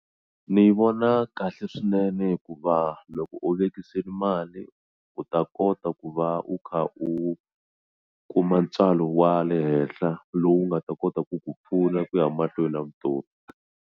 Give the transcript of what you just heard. Ni yi vona kahle swinene hikuva loko u vekisile mali u ta kota ku va u kha u kuma ntswalo wa le henhla lowu nga ta kota ku ku pfuna ku ya mahlweni na vutomi.